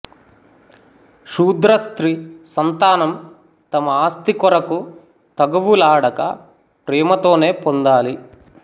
శూద్రస్త్రీ సంతానం తమ ఆస్తి కొరకు తగవులాడక ప్రేమతోనే పొందాలి